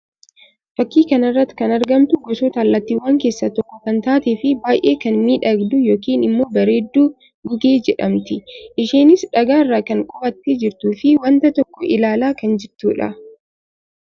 Fakkii kana irratti kan argamtu gosoota allaattiiwwanii keessaa tokkoo kan taatee fi baayyee kan miidhagdu yookiin immoo bareeddu gugee jedhamti. Isheenis dhagaa irra kan qubattee jirtuu fi wanta tokko ilaalaa kan jirtuu dha.